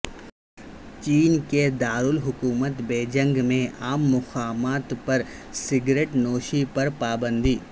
چین کے دارالحکومت بیجنگ میں عام مقامات پر سگریٹ نوشی پر پابندی